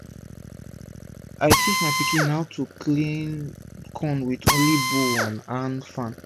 i teach my pikin how to clean corn wit only bowl and hand fan